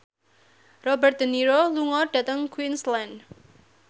Robert de Niro lunga dhateng Queensland